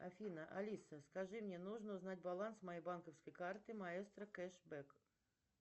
афина алиса скажи мне нужно узнать баланс моей банковской карты маестро кэш бэк